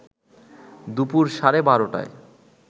দুপুর সাড়ে ১২টায়